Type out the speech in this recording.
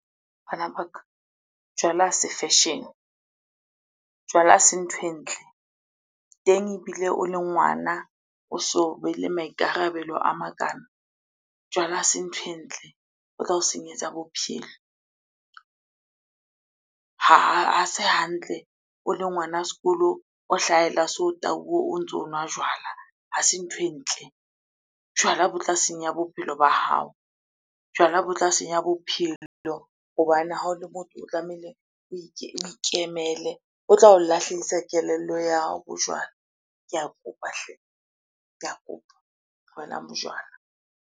Bana ba ka, jwala ha se fashion-e, jwala ha se nthwe e ntle. Teng ebile o le ngwana, o sobe le maikarabelo a makana. Jwala ha se nthwe e ntle, bo tla o senyetsa bophelo. Ha se hantle o le ngwana sekolo, o hlahella so o tauwe o ntso o nwa jwala, ha se nthwe e ntle. Jwala bo tla senya bophelo ba hao, jwala bo tla se senya bophelo hobane ha o le motho o tlamehile o ikemele. Tla o lahlehisa kelello ya hao bojwala. Ke a kopa hle! Ke a kopa. Tlohelang bojwala.